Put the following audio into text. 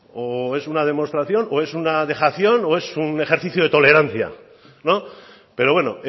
o es una nación o es una demostración o es una vejación o es un ejercicio de tolerancia pero bueno